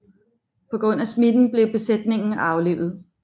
På grund af smitten blev besætningen aflivet